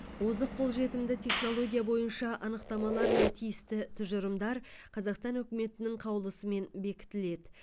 озық қолжетімді технология бойынша анықтамалар мен тиісті тұжырымдар қазақстан үкіметінің қаулысымен бекітіледі